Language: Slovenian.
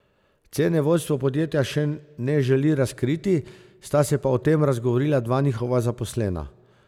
Cene vodstvo podjetja še ne želi razkriti, sta se pa o tem razgovorila dva njihova zaposlena.